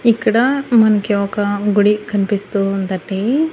ఇక్కడ మనకి ఒక గుడి కన్పిస్తూ ఉందండి.